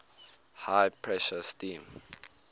high pressure steam